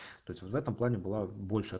то есть вот в этом плане была больше